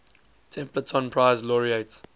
templeton prize laureates